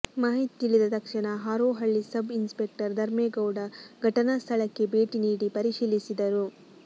ಮಾಹಿತಿ ತಿಳಿದ ತಕ್ಷಣ ಹಾರೋಹಳ್ಳಿ ಸಬ್ ಇನ್ಸ್ಪೆಕ್ಟರ್ ಧರ್ಮೇಗೌಡ ಘಟನಾ ಸ್ಥಳಕ್ಕೆ ಭೇಟಿ ನೀಡಿ ಪರಿಶೀಲಿಸಿದರು